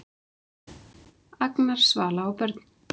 Agnar, Svala og börn.